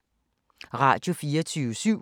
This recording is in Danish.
Radio24syv